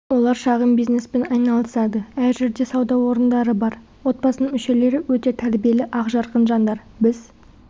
олар шағын бизнеспен айналысады әр жерде сауда орындары бар отбасының мүшелері өте тәрбиелі ақжарқын жандар біз